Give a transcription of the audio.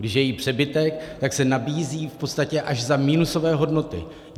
Když je jí přebytek, tak se nabízí v podstatě až za minusové hodnoty.